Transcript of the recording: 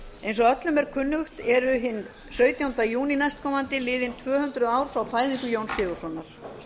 eins og öllum er kunnugt er hinn sautjánda júní næstkomandi liðin tvö hundruð ár frá fæðingu jóns sigurðssonar